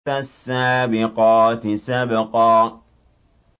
فَالسَّابِقَاتِ سَبْقًا